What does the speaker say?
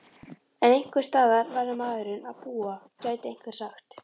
En einhversstaðar verður maðurinn að búa gæti einhver sagt?